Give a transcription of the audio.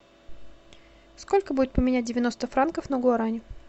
сколько будет поменять девяносто франков на гуарани